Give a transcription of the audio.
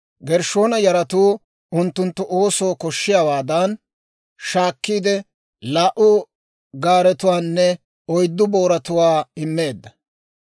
Gershshoona yaratoo unttunttu oosoo koshshiyaawaadan shaakkiide, laa"u gaaretuwaanne oyddu booratuwaa immeedda.